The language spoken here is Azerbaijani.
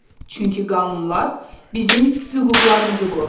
Çünki qanunlar bizim hüquqlarımızı qoruyur.